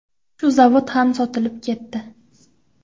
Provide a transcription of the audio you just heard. Shu zavod ham sotilib ketdi.